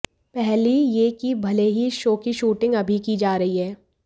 पहली यह कि भले ही इस शो की शूटिंग अभी की जा रही है